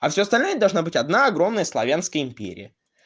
а всё остальное должна быть одна огромная славянская империя